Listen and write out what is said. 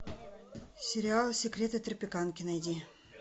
сериал секреты тропиканки найди